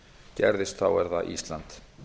gerðist er það ísland